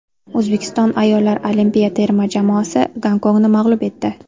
O‘zbekiston ayollar olimpiya terma jamoasi Gonkongni mag‘lub etdi.